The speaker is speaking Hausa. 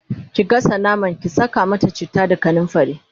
ki gasa naman, ki Saka mata chitta da kanumfari!